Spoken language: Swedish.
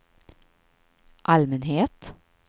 allmänhet